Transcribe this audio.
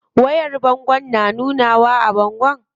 Wayar bangon na nunawa a bango?